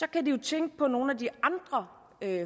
kan de jo tænke på nogle af de andre